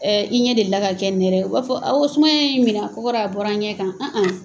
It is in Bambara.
Ɛ i ɲɛ deli la ka kɛ nɛrɛ ye wa, u b'a fɔ awɔ ko sumaya ye n minɛ a kɔkɔra a bɔra a bɔra n ɲɛ kan.